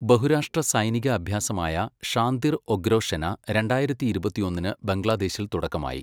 ബഹുരാഷ്ട്ര സൈനിക അഭ്യാസമായ ഷാന്തിർ ഒഗ്രൊഷെന രണ്ടായിരത്തി ഇരുപത്തൊന്നിന് ബംഗ്ലാദേശിൽ തുടക്കമായി